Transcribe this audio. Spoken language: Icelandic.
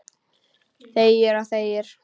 Þegir og þegir.